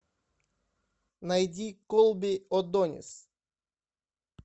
найди колби одонис